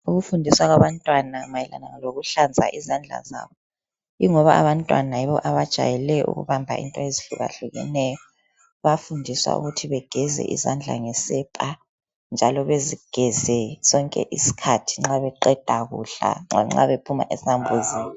Ukufundiswa kwabantwana mayelana lokuhlaza izandla zabo ingoba abantwana yibo abajayele ukubamba into ezihlukahlukeneyo bayafundiswa ukuthi begeza izandla ngesepa njalo bezigeze sonke isikhathi nxa beqeda kudla lanxa bephuma ezambuzini.